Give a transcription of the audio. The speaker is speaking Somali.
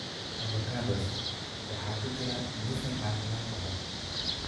Avocados waxaa ku jira dufan caafimaad qaba.